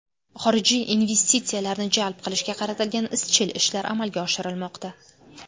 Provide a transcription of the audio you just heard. Xorijiy investitsiyalarni jalb qilishga qaratilgan izchil ishlar amalga oshirilmoqda.